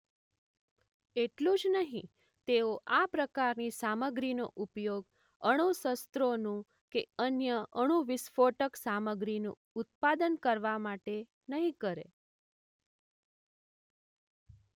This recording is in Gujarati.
એટલું જ નહીં તેઓ આ પ્રકારની સામગ્રીનો ઉપયોગ અણુશસ્ત્રોનું કે અન્ય અણુવિસ્ફોટક સામગ્રીનું ઉત્પાદન કરવા માટે નહીં કરે.